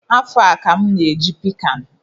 Afọ a ka m na-eji pic an